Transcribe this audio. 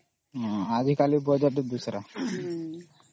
ଆଜି କାଲି ତା Budget ...